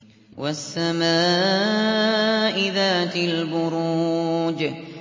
وَالسَّمَاءِ ذَاتِ الْبُرُوجِ